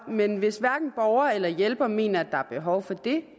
men hvis hverken borger eller hjælper mener at der er behov for det